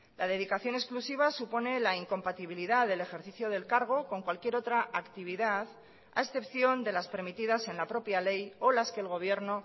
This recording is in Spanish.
la dedicación exclusiva supone la incompatibilidad del ejercicio del cargo con cualquier otra actividad a excepción de las permitidas en la propia ley o las que el gobierno